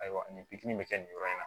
Ayiwa nin bi kɛ nin yɔrɔ in na